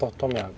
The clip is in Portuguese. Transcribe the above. Tome água.